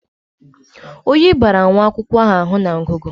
Oyi bara nwa akwụkwọ ahụ na ngụgụ.